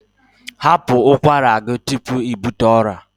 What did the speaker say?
Hapụ ụkwara gị tupu ị bute ọrịa!